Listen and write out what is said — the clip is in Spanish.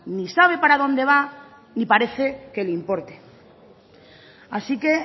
ni sabe para dónde va ni parece que le importe así que